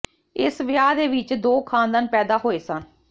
ਇਸ ਵਿਆਹ ਦੇ ਵਿੱਚ ਦੋ ਖਾਨਦਾਨ ਪੈਦਾ ਹੋਏ ਸਨ